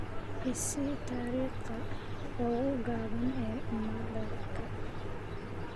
i sii dariiqa ugu gaaban ee madaarka